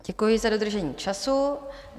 Děkuji za dodržení času.